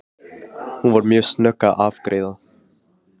Hún var mjög snögg að afgreiða.